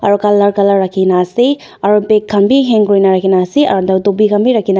aro colour colour raki kena ase aro bag khan b hang kuri kena raki kena ase aro dopi raki kena.